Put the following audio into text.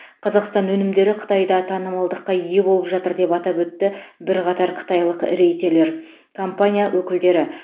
қазақстан өнімдері қытайда танымалдыққа ие болып жатыр деп атап өтті бірқатар қытайлық рейтелер компания өкілдері